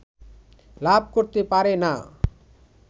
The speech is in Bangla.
লাভ করতে পারে না